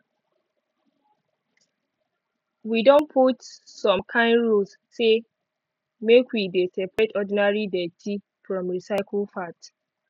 wi don put some kind rules say make we dey separate ordinary dirty from recycle part